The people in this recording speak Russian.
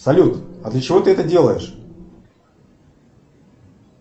салют а для чего ты это делаешь